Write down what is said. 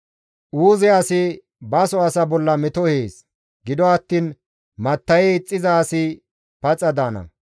Uuze asi baso asa bolla meto ehees; gido attiin matta7e ixxiza asi paxa daana.